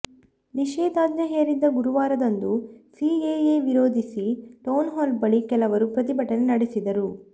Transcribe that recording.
ನಿಷೇಧಾಜ್ಞೆ ಹೇರಿದ್ದ ಗುರುವಾರದಂದು ಸಿಎಎ ವಿರೋಧಿಸಿ ಟೌನ್ಹಾಲ್ ಬಳಿ ಕೆಲವರು ಪ್ರತಿಭಟನೆ ನಡೆಸಿದರು